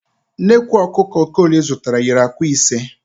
Nnekwu ọkụkọ Okoli zụtara yiri ạ̀kwạ́ ise.